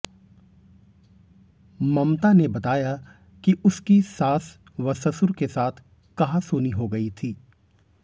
ममता ने बताया कि उसकी सास व ससुर के साथ कहासुनी हो गई थी